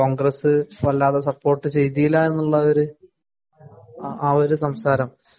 കോണ്‍ഗ്രസ് വല്ലാതെ സപ്പോര്‍ട്ട് ചെയ്തില്ല എന്നുള്ളൊരു ആ ഒരു സംസാരം